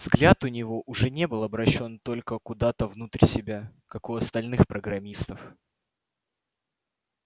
взгляд у него уже не был обращён только куда-то внутрь себя как у остальных программистов